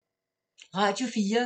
Radio 4